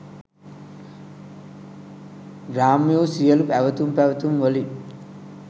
ග්‍රාම්‍ය වු සියලු ඇවතුම් පැවතුම් වලින්